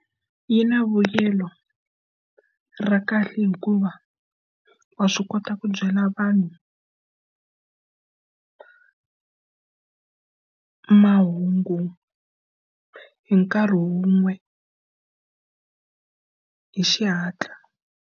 Yi na vuyelo ra kahle hikuva wa swi kota ku byala vanhu mahungu hi nkarhi wun'we hi xihatla.